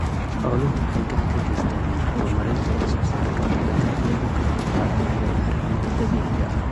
Xooluhu waxay gacan ka geystaan ??horumarinta wax soo saarka dalagga iyagoo ka qayb qaadanaya bacriminta dabiiciga ah.